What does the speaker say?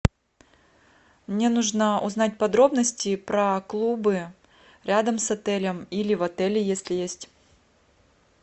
мне нужно узнать подробности про клубы рядом с отелем или в отеле если есть